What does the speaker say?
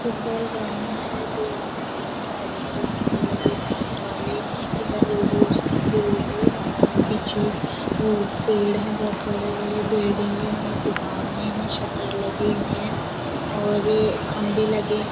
football ground है दो आदमी हैं बड़े बड़े खंबे लगे लाइट वाले इधर रोड के उस तरफ भी रोड है पीछे वो पेड़ हैं बहुत बड़े बड़े बिल्डिंगे हैं दुकाने हैं शटर लगे हैं और ये खंबे लगे --